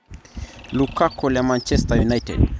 Lukaku le(Manchester United).